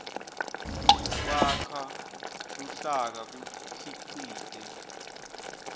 kwakha luhlaka kukhicite